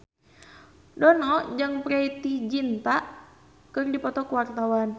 Dono jeung Preity Zinta keur dipoto ku wartawan